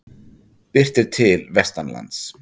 Birtir til vestanlands